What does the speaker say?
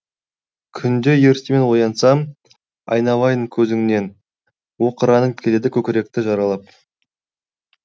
күнде ертемен оянсам айналайын көзіңнен оқыранып келеді көкіректі жаралап